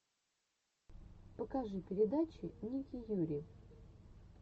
покажи передача ники юри